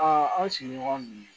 an sigiɲɔgɔn dun ye